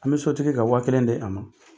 An bɛ so tigi ka waa kelen de a ma